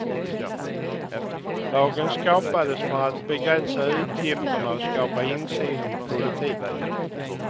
Lagen skapades för att begränsa utgifterna och skapa insyn i politiken.